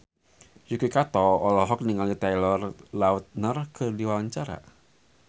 Yuki Kato olohok ningali Taylor Lautner keur diwawancara